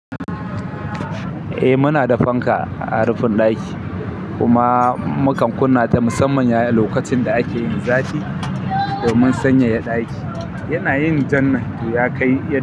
Eh muna da fanka a rufin ɗaki kuma mukan kunna ta musamman yaya lokacin da ake yin zafi domin sanyaya ɗaki yanayin jannan toh ya kai yad.